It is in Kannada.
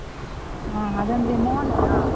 ಹಾ, ಅದಂದ್ರೆ lang:Foreignmalllang:Foreign ಅಲ್ಲಾ?